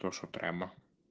прошу прямо